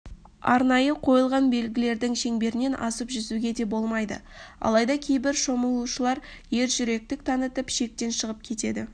арнайы қойылған белгілердің шеңберінен асып жүзуге де болмайды алайда кейбір шомышулар ержүректік танытып шектен шығып кетеді